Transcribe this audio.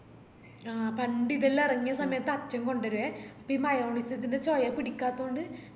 ആ പണ്ടിതെല്ലാം എറങ്ങിയ സമയത്ത് അച്ഛൻ കൊണ്ടെരുവെ അപ്പൊ ഈ shawarma ഇതിന്റെ ചോയ പിടിക്കാത്ത കൊണ്ട്